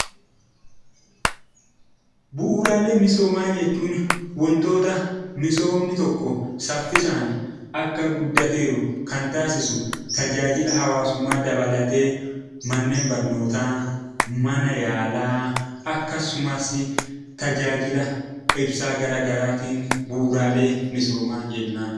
Bu'uuraalee misoomaa jechuun wantoota misoomni tokko saffisaan akka guddatee jiru kan taasisu tajaajila hawaasummaa dabalatee manneen barnootaa, mana yaalaa akkasumas tajaajila ibsaa garaagaraatiin bu'uuraalee misoomaa jennaan.